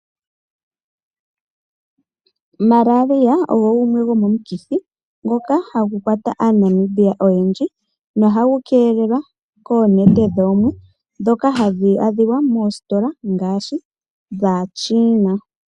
Malaria ogo omukithi ngoka hagu kwata aaNamibia oyendji. Ohagu keelelwa koonete dhoomwe ndhoka hadhi adhika unene moositola dhaaChiina.